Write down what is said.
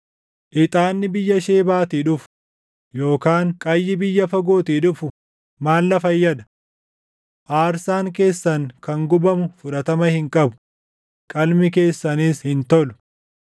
Ixaanni biyya Shebaatii dhufu, yookaan qayyii biyya fagootii dhufu maal na fayyada? Aarsaan keessan kan gubamu fudhatama hin qabu; qalmi keessanis hin tolu.”